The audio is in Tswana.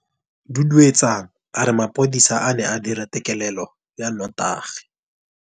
Duduetsang a re mapodisa a ne a dira têkêlêlô ya nnotagi.